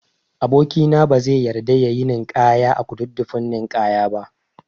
Aboki na bazai yarda yayi ninkaya a Kududdufin ninkaya ba